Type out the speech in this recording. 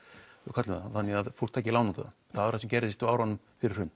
köllum það þannig að fólk taki lán út á það það var það sem gerðist á árunum fyrir hrun